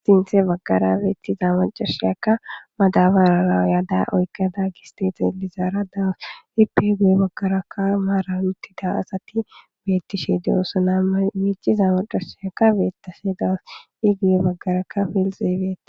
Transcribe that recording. sinthe baggara beettiza macarsheyakka madabarara yaada oykada gisteexa ilizaara dawas ipe gu7e baggarakka maaran uttida asatti beettishe de7ossana amiiciza macashiyakka beettaseedas i gu7e baggarakka filxeeybeet